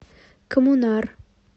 коммунар